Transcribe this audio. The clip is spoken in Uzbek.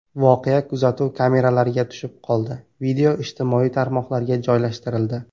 Voqea kuzatuv kameralariga tushib qoldi, video ijtimoiy tarmoqlarga joylashtirildi.